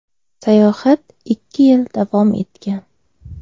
Sayohat ikki yil davom etgan.